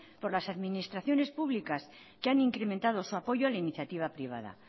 por las administraciones públicas que han incrementado su apoyo a la iniciativa privada